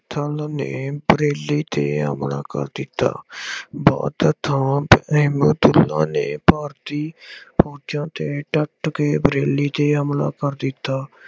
ਨੇ ਬਰੇਲੀ ਤੇ ਹਮਲਾ ਕਰ ਦਿੱਤਾ। ਬਹੁਤੇ ਥਾਂ ਨੇ ਭਾਰਤੀ ਫੋਜ਼ਾਂ ਤੇ ਡੱਟ ਕੇ ਬਰੇਲੀ ਤੇ ਹਮਲਾ ਕਰ ਦਿੱਤਾ।